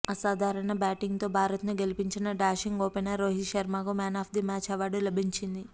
అసాధారణ బ్యాటింగ్తో భారత్ను గెలిపించిన డాషింగ్ ఓపెనర్ రోహిత్ శర్మకు మ్యాన్ ఆఫ్ది మ్యాచ్ అవార్డు లభించింది